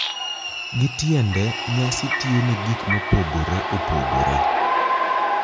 Gi tiende, nyasi tiyo ne gik mopogore opogore,